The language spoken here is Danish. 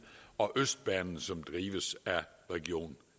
og østbanen som drives af region